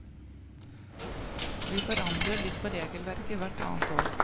Vi forandrer litt på regelverket hvert annet år.